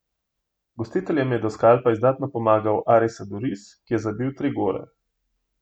Gostiteljem je do skalpa izdatno pomagal Artiz Aduriz, ki je zabil tri gole.